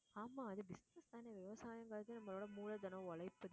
ஆமா அது business தானே விவசாயங்கிறது நம்மளோட மூலதனம் உழைப்பு